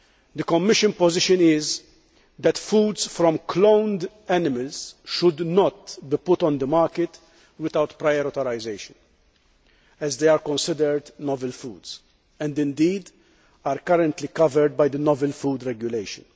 The Commission position is that foods from cloned animals should not be put on the market without prior authorisation, as they are considered novel foods, and indeed are currently covered by the Novel Food Regulation.